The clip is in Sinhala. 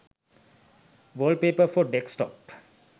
wallpapers for desktop